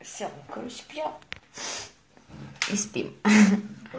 все короче я и спит